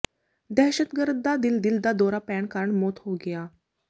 ਦਹਿਸ਼ਤਗਰਦ ਦਾ ਦਿਲ ਦਿਲ ਦਾ ਦੌਰਾ ਪੈਣ ਕਾਰਨ ਮੌਤ ਹੋ ਗਿਆ